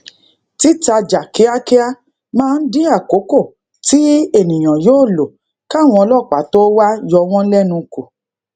titajà kíákíá maa n din akoko ti eniyan yoo lo káwọn ọlópàá to wa yowon lenu ku